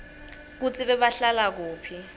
kutsi bebahlala kuphi